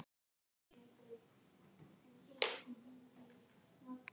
Hann er mjög flottur leikmaður og erfitt við hann að eiga.